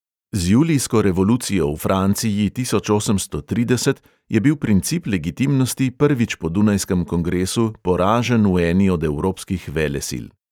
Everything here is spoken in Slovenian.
Z julijsko revolucijo v franciji tisoč osemsto trideset je bil princip legitimnosti prvič po dunajskem kongresu poražen v eni od evropskih velesil.